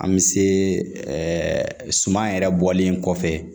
An bɛ se suman yɛrɛ bɔlen kɔfɛ